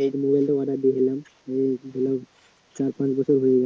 এই মোবাইলটা অর্ডার দিয়েছিলাম চার পাঁচ বছর হয়ে